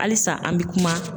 Halisa an bɛ kuma